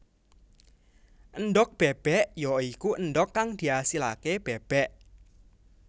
Endhog bébék ya iku endhog kang diasilaké bébék